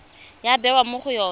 ya bewa mo go yone